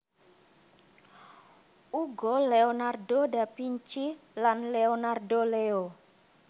Uga Leonardo Da Vinci lan Leonardo Leo